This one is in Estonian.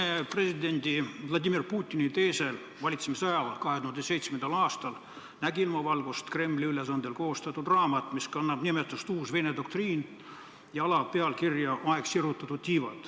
Venemaa presidendi Vladimir Putini teisel valitsemisajal, 2007. aastal, nägi ilmavalgust Kremli ülesandel koostatud raamat, mis kannab pealkirja "Uus Vene doktriin" ja alapealkirja "Aeg tiibu sirutada".